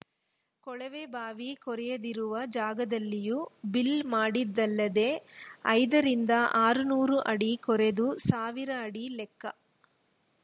ಕೊಳವೆಬಾವಿ ಕೊರೆಯದಿರುವ ಜಾಗದಲ್ಲಿಯೂ ಬಿಲ್‌ ಮಾಡಿದ್ದಲ್ಲದೆ ಐದರಿಂದ ಆರುನೂರು ಅಡಿ ಕೊರೆದು ಸಾವಿರ ಅಡಿ ಲೆಕ್ಕ